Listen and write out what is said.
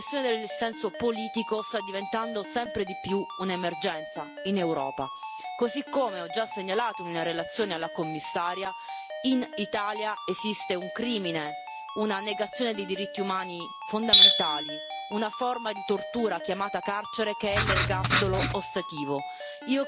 La repressione del dissenso politico sta diventando sempre di più un'emergenza in Europa così come ho già segnalato in una relazione alla Commissaria, in Italia esiste un crimine, una negazione dei diritti umani fondamentali, una forma di tortura chiamata carcere che è l'ergastolo ostativo.